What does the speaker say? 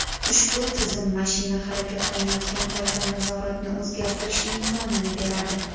Ushbu tizim mashina harakatlanayotgan paytda nazoratni o‘zgartirish imkonini beradi.